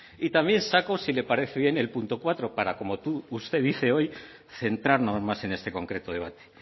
y también saco si le parece bien el punto cuatro para como usted dice hoy centrarnos más en este concreto debate